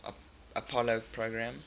apollo program